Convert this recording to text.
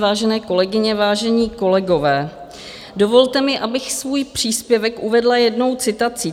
Vážené kolegyně, vážení kolegové, dovolte mi, abych svůj příspěvek uvedla jednou citací.